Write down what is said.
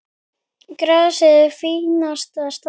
Grasið í fínasta standi.